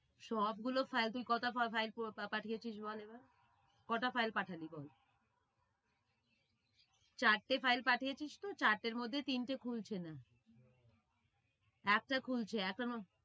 সব গুলো file তুই পাঠিয়েছিস বল এবার? কটা file পাঠালি বল? চারটে file পাঠিয়েছিস তো চারটের মধ্যে তিনটে খুলছে না। একটা খুলছে এখনো।